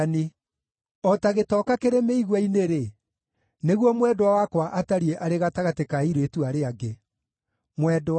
O ta gĩtoka kĩrĩ mĩigua-inĩ-rĩ, nĩguo mwendwa wakwa atariĩ arĩ gatagatĩ ka airĩtu arĩa angĩ.